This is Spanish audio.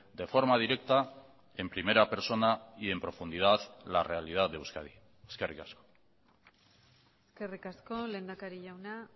de forma directa en primera persona y en profundidad la realidad de euskadi eskerrik asko eskerrik asko lehendakari jauna